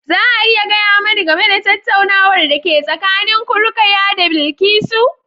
Za a iya gaya mani game da tattaunawar da ke tsakanin ku, Rukaya da Bilkisu?